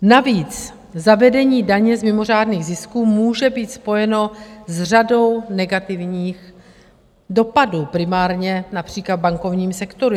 Navíc zavedení daně z mimořádných zisků může být spojeno s řadou negativních dopadů, primárně například v bankovním sektoru.